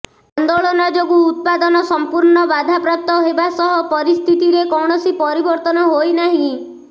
ଆନ୍ଦୋଳନ ଯୋଗୁଁ ଉତ୍ପାଦନ ସଂପୂର୍ଣ୍ଣ ବାଧାପ୍ରାପ୍ତ ହେବା ସହ ପରିସ୍ଥିତିରେ କୌଣସି ପରିବର୍ତ୍ତନ ହୋଇନାହିଁ